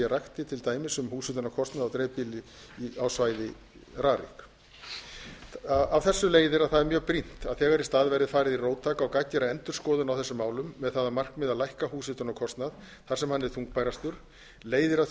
rakti til dæmis um húshitunarkostnað á svæði rarik af þessu leiðir að það er mjög brýnt að þegar í stað verði farið í róttæka og gagngera endurskoðun á þessum málum með það að markmiði að lækka húshitunarkostnað þar sem hann er þungbærastur leiðir að